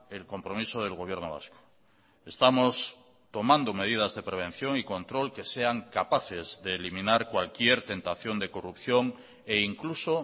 el compromiso del gobierno vasco estamos tomando medidas de prevención y control que sean capaces de eliminar cualquier tentación de corrupción e incluso